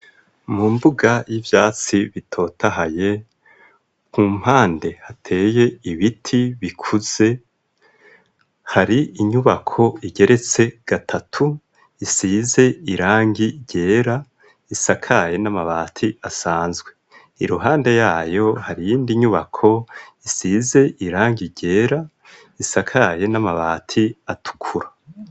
Mu mbuga y'ivyatsi bitotahaye ,ku mpande hateye ibiti bikuze ,hari inyubako igeretse gatatu isize irangi ryera isakaye n'amabati asanzwe iruhande yayo hari yindi nyubako isize irangi ryera isakaye n'amabati atukura.